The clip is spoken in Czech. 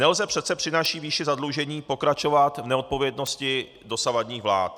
Nelze přece při naší výši zadlužení pokračovat v neodpovědnosti dosavadních vlád.